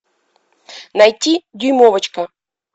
найти дюймовочка